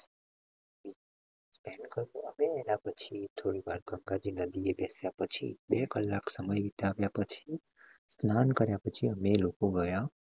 અમે એના પછી થોડી વાર ગંગા નદીએ બેસ્યા પછી, બે કલાક સમય વિતાવ્યા પછી, કર્યા પછી અમને એ લોકો મળ્યા